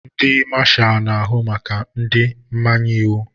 Ndị Mashalu na-ahụ maka ndị mmanye iwu.